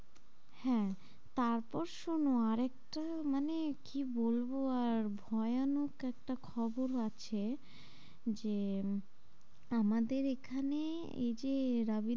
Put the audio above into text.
হ্যাঁ তারপর শোনো আর একটা মানে কি বলবো আর ভয়ানক একটা খবর ও আছে যে আহ আমাদের এখানে এই যে